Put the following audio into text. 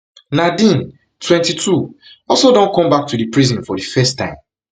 nadine twenty-two also don come back to di prison for di first time